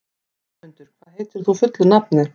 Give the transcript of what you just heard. Vémundur, hvað heitir þú fullu nafni?